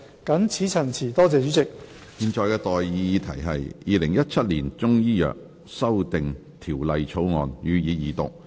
我現在向各位提出的待議議題是：《2017年中醫藥條例草案》予以二讀。